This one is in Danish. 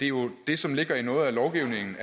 jo det som ligger i noget af lovgivningen